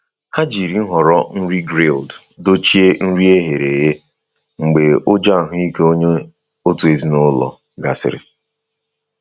Ha jiri nhọrọ nri grilled dochie nri e ghere eghe mgbe ụjọ ahụike onye òtù ezinụlọ gasịrị.